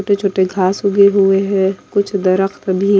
छोटे-छोटे घास हुगे हुए हैं कुछ भी --